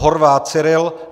Horvát Cyril